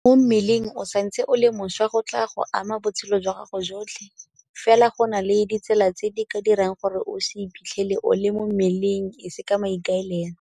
GO NNA MO MMELENG o santse o le mošwa go tla go ama botshelo jwa gago jotlhe, fela go na le ditsela tse di ka dirang gore o se iphitlhele o le mo mmeleng e se ka maikaelelo.